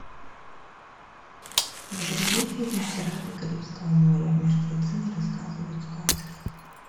загрузи фильм пираты карибского моря мертвецы не рассказывают сказки